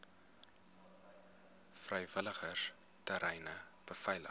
vrywilligers treine beveilig